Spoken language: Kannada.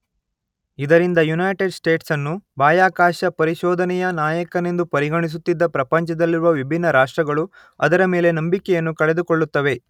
ಇದರಿಂದಾಗಿ ಯುನೈಟೆಡ್ ಸ್ಟೇಟ್ಸ್ ಅನ್ನು ಬಾಹ್ಯಾಕಾಶ ಪರಿಶೋಧನೆಯ ನಾಯಕನೆಂದು ಪರಿಗಣಿಸುತ್ತಿದ್ದ ಪ್ರಪಂಚದಲ್ಲಿರುವ ವಿಭಿನ್ನ ರಾಷ್ಟ್ರಗಳು ಅದರ ಮೇಲೆ ನಂಬಿಕೆಯನ್ನು ಕಳೆದುಕೊಳ್ಳುತ್ತವೆ.